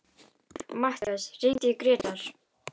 Mattíana, hringdu í Grétar.